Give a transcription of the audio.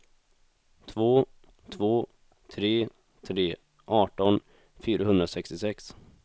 två två tre tre arton fyrahundrasextiosex